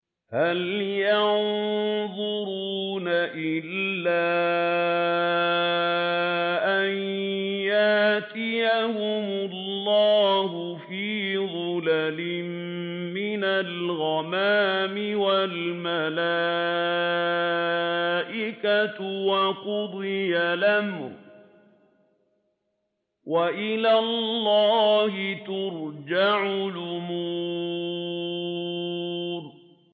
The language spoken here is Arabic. هَلْ يَنظُرُونَ إِلَّا أَن يَأْتِيَهُمُ اللَّهُ فِي ظُلَلٍ مِّنَ الْغَمَامِ وَالْمَلَائِكَةُ وَقُضِيَ الْأَمْرُ ۚ وَإِلَى اللَّهِ تُرْجَعُ الْأُمُورُ